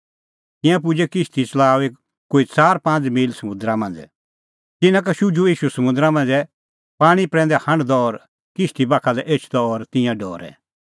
तिंयां पुजै किश्ती च़लाऊंदी कोई च़ार पांज़ मील समुंदरा मांझ़ै तिन्नां का शुझुअ ईशू समुंदरा मांझ़ै पाणीं प्रैंदै हांढदअ और किश्ती बाखा लै एछदअ और तिंयां डरै